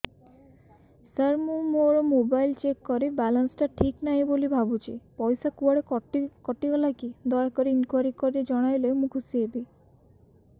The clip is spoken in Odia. ସାର ମୁଁ ମୋର ମୋବାଇଲ ଚେକ କଲି ବାଲାନ୍ସ ଟା ଠିକ ନାହିଁ ବୋଲି ଭାବୁଛି ପଇସା କୁଆଡେ କଟି ଗଲା କି ଦୟାକରି ଇନକ୍ୱାରି କରି ଜଣାଇଲେ ମୁଁ ଖୁସି ହେବି